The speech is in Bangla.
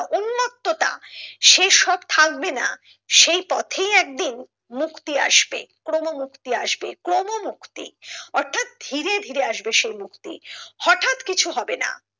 উন্মত্ততা সে সব থাকবেনা সেই পথেই একদিন মুক্তি আসবে ক্রমমুক্তি আসবে ক্রমমুক্তি অর্থাৎ ধীরে ধীরে আসবে সেই মুক্তি হটাৎ কিছু হবে না।